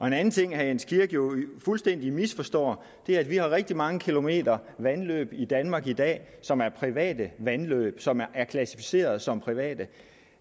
en anden ting herre jens kirk jo fuldstændig misforstår er at vi har rigtig mange kilometer vandløb i danmark i dag som er private vandløb som er klassificeret som private